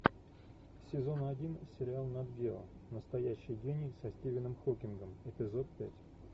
сезон один сериал нат гео настоящий гений со стивеном хокингом эпизод пять